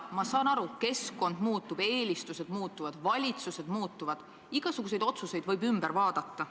Ma saan aru: keskkond muutub, eelistused muutuvad, valitsused muutuvad, igasuguseid otsuseid võib ümber teha.